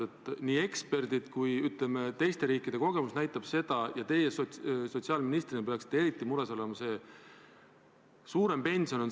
Seda on väitnud eksperdid ja ka teiste riikide kogemused näitavad, et suurem pension on siis, kui esimene ja teine sammas toimivad koos, ükskõik kuidas see korraldatud on.